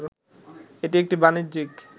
এটি একটি বাণিজ্যিক